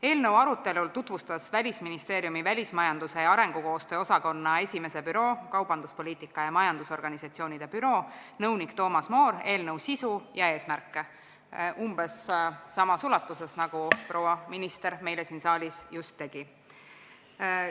Eelnõu arutelul tutvustas Välisministeeriumi välismajanduse ja arengukoostöö osakonna 1. büroo, kaubanduspoliitika ja majandusorganisatsioonide büroo nõunik Toomas Moor eelnõu sisu ja eesmärke umbes samas ulatuses, nagu proua minister siin saalis just tegi.